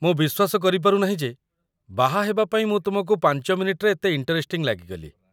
ମୁଁ ବିଶ୍ୱାସ କରିପାରୁନାହିଁ ଯେ ବାହା ହେବା ପାଇଁ ମୁଁ ତୁମକୁ ୫ ମିନିଟ୍‌ରେ ଏତେ ଇଣ୍ଟରେଷ୍ଟିଂ ଲାଗିଗଲି ।